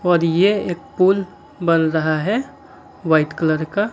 और यह एक पुल बन रहा है वाइट कलर का।